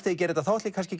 ég geri þetta ætla ég kannski